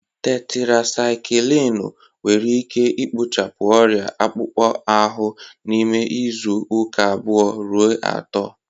Tetirasaikilinu nwere ike ikpochapụ ọrịa akpụkpọ ahụ n'ime izu uka abuo ruo ato.